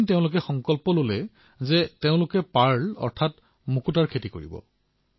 এদিন তেওঁলোকে সিদ্ধান্ত গ্ৰহণ কৰিলে যে মুকুতা অৰ্থাৎ পাৰ্লছ ৰ খেতি কৰিব